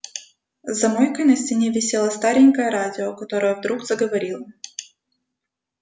за мойкой на стене висело старенькое радио которое вдруг заговорило